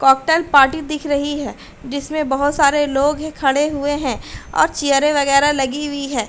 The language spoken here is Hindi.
कॉकटेल पार्टी दिख रही है डिसमे बहोत सारे लोग हे खड़े हुए हैं और चियरे वगैरा लगी वी है।